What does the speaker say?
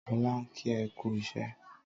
Sọlá ń kí ẹ kú iṣẹ́.